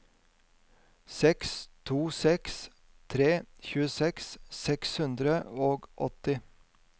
seks to seks tre tjueseks seks hundre og åtti